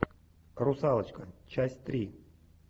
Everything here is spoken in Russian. русалочка часть три